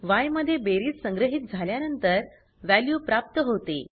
य मध्ये बेरीज संग्रहीत झाल्यानंतर वॅल्यू प्राप्त होते